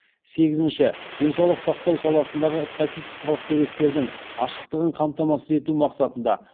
сегізінші денсаулық сақтау саласындағы статистикалық деректердің ашықтығын қамтамасыз ету мақсатында